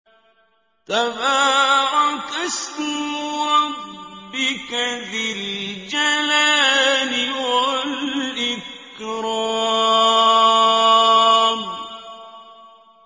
تَبَارَكَ اسْمُ رَبِّكَ ذِي الْجَلَالِ وَالْإِكْرَامِ